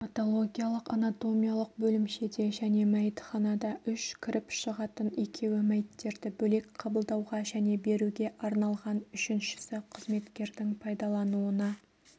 патологиялық-анатомиялық бөлімшеде және мәйітханада үш кіріп-шығатын екеуі мәйіттерді бөлек қабылдауға және беруге арналған үшіншісі қызметкердің пайдалануына